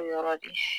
Yɔrɔ de